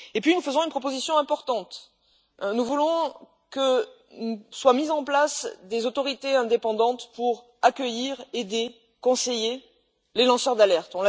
Nous faisons une proposition importante nous voulons que soient mises en place des autorités indépendantes pour accueillir, aider et conseiller les lanceurs d'alerte.